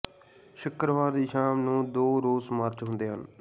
ਸ਼ੁੱਕਰਵਾਰ ਦੀ ਸ਼ਾਮ ਨੂੰ ਦੋ ਰੋਸ ਮਾਰਚ ਹੁੰਦੇ ਹਨ